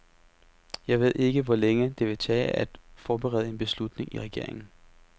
Jeg ved ikke, hvor længe det vil tage at forberede en beslutning i regeringen.